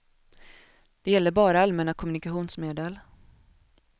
Det gäller bara allmänna kommunikationsmedel.